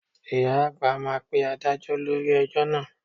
Ìyá àgbà máa pe Adájọ́ lórí ẹjọ́ náà